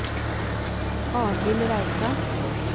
Arnhild Reitan